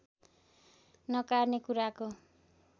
नकार्ने कुराको